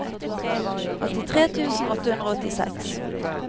åttitre tusen åtte hundre og åttiseks